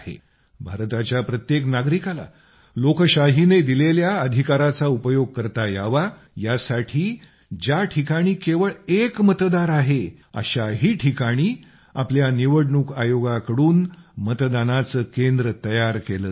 भारताच्या प्रत्येक नागरिकाला लोकशाहीने दिलेल्या अधिकाराचा उपयोग करता यावा यासाठी ज्या ठिकाणी केवळ एक मतदार आहे अशाही ठिकाणी आपल्या निवडणूक आयोगाकडून मतदानाचे केंद्र तयार केलं जातं